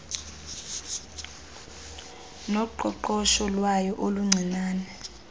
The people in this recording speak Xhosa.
noqoqosho lwayo oluncinane